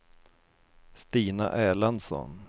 Stina Erlandsson